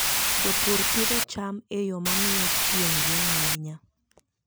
Jopur pidho cham e yo ma miyo chieng' rieny ahinya.